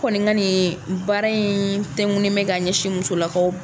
Kɔnika nin baara in tɛnkunnen bɛ ka ɲɛsin musolakaw